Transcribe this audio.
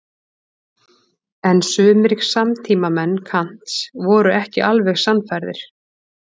En sumir samtímamenn Kants voru ekki alveg sannfærðir.